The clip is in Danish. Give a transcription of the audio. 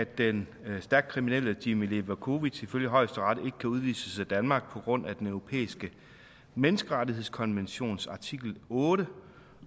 at den stærkt kriminelle jimmi levakovic ifølge højesteret ikke kan udvises af danmark på grund af den europæiske menneskerettighedskonventions artikel otte